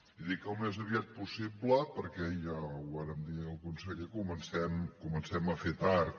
i dic al més aviat possible perquè ja ho vàrem dir al conseller comencem a fer tard